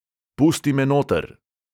Pusti me noter!